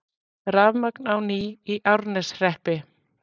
Rafmagn á ný í Árneshreppi